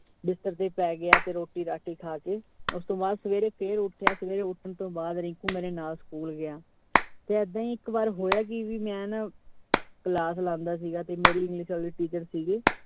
ਬਿਸਤਰ ਤੇ ਪੈ ਗਿਆ ਤੇ ਰੋਟੀ ਰਾਟੀ ਖਾਕੇ ਉਸਤੋਂ ਬਾਅਦ ਸਵੇਰੇ ਫਿਰ ਉਠਿਆ। ਸਵੇਰੇ ਉੱਠਨ ਤੋਂ ਬਾਅਦ ਰਿੰਕੂ ਮੇਰੇ ਨਾਲ school ਗਿਆ, ਤੇ ਐਦਾਂ ਹੀ ਇਕ ਬਾਰ ਹੋਇਆ ਕਿ ਵੀ ਮੈਂ ਨਾਂ class ਲਾਂਦਾ ਸੀਗਾ ਤੇ ਮੇਰੀ English ਆਲੀ teacher ਸੀਗੀ।